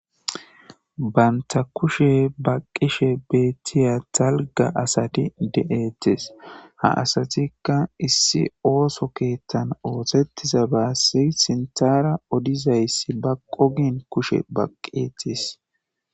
Banta kushe baqqishe beettiya talga asati de7ettes ha asatikka issi ooso keettan ootettiza baassi sintara odizayssi ba qogen kushe baqqeetis.